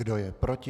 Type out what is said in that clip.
Kdo je proti?